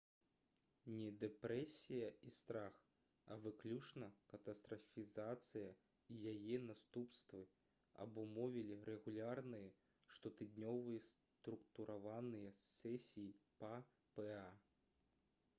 не дэпрэсія і страх а выключна катастрафізацыя і яе наступствы абумовілі рэгулярныя штотыднёвыя структураваныя сесіі па па